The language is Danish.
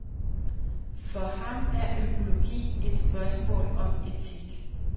For ham er økologi et spørgsmål om etik.